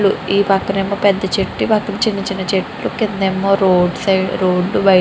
ఈ పక్కనేమో పెద్ద చెట్టు అండ్ పక్కనేమో రోడ్ సైడ్ రోడ్ --]